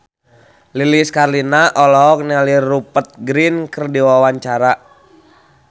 Lilis Karlina olohok ningali Rupert Grin keur diwawancara